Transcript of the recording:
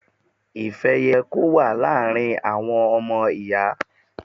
Ìfẹ́ yẹ kó wà láàrin àwọn ọmọ Ìyà.